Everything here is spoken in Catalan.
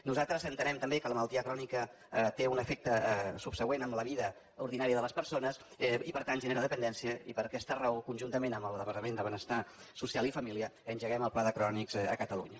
nosaltres entenem també que la malaltia crònica té un efecte subsegüent en la vida ordinària de les persones i per tant genera dependència i per aquesta raó conjuntament amb el departament de benestar social i família engeguem el pla de crònics a catalunya